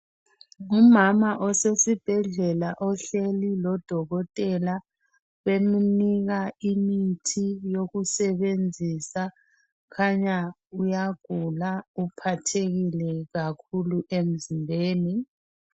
Ngumama osesibhedlela ohleli lodokotela bemunika imithi yokusebenzisa Kukhanya uyagula uphathekile kakhulu emzimbeni.